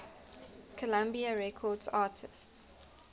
columbia records artists